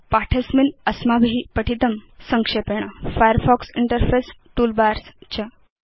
पाठे अस्मिन् अस्माभि पठितं फायरफॉक्स इंटरफेस टूलबार्स च